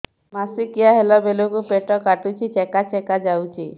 ମାସିକିଆ ହେଲା ବେଳକୁ ପେଟ କାଟୁଚି ଚେକା ଚେକା ଯାଉଚି